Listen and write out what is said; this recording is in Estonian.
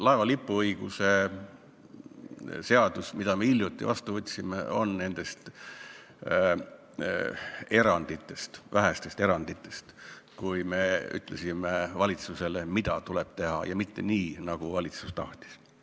Laeva lipuõiguse seadus, mille me hiljuti vastu võtsime, on üks nendest vähestest eranditest, kus me ütlesime valitsusele, mida tuleb teha ja mitte teha nii, nagu valitsus tahtis.